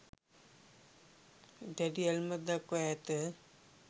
දැඩි ඇල්මක් දක්වා ඇත.